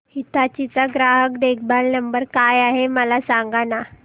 हिताची चा ग्राहक देखभाल नंबर काय आहे मला सांगाना